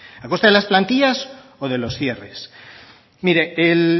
a costa de las plantillas o de los cierres mire el